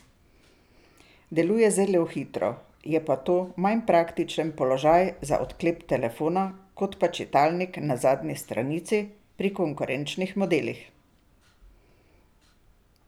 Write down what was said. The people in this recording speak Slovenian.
Deluje zelo hitro, je pa to manj praktičen položaj za odklep telefona kot pa čitalnik na zadnji stranici pri konkurenčnih modelih.